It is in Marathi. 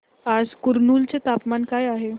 आज कुरनूल चे तापमान काय आहे